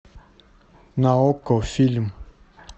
на окко фильм